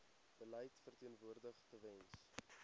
beleid verteenwoordig tewens